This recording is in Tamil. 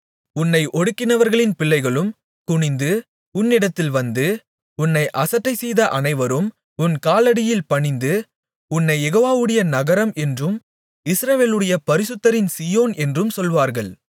உன்னை ஒடுக்கினவர்களின் பிள்ளைகளும் குனிந்து உன்னிடத்தில் வந்து உன்னை அசட்டைசெய்த அனைவரும் உன் காலடியில் பணிந்து உன்னைக் யெகோவாவுடைய நகரம் என்றும் இஸ்ரவேலுடைய பரிசுத்தரின் சீயோன் என்றும் சொல்வார்கள்